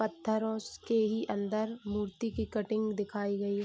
पत्थरों के ही अंदर मूर्ति की कटिंग दिखाई गई है।